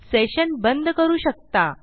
session बंद करू शकता